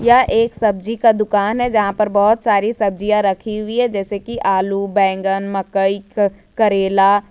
वह एक सब्जी का दुकान है जहां पर बहुत सारी सब्जियां रखी हुई है जैसे कि आलू बैगन मकई करैला।